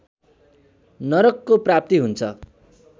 नरकको प्राप्ति हुन्छ